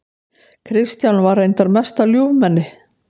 Kristján var reyndar mesta ljúfmenni.